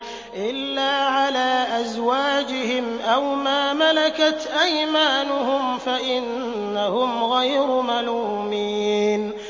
إِلَّا عَلَىٰ أَزْوَاجِهِمْ أَوْ مَا مَلَكَتْ أَيْمَانُهُمْ فَإِنَّهُمْ غَيْرُ مَلُومِينَ